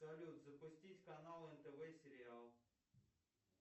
салют запустить канал нтв сериал